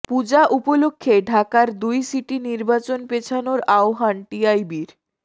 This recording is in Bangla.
পূজা উপলক্ষে ঢাকার দুই সিটি নির্বাচন পেছানোর আহ্বান টিআইবির